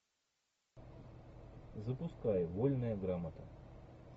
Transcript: запускай вольная грамота